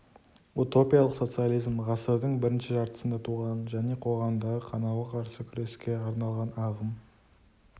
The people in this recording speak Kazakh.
утопиялық социализм ғасырдың бірінші жартысында туған және қоғамдағы қанауға қарсы күреске арналған ағым